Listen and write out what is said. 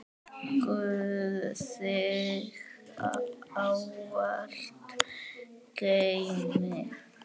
Guð þig ávallt geymi.